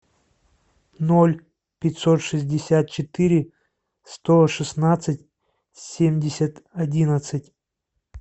ноль пятьсот шестьдесят четыре сто шестнадцать семьдесят одиннадцать